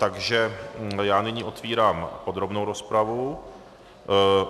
Takže já nyní otevírám podrobnou rozpravu.